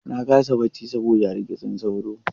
Na kasa barci saboda hargitsin sauro.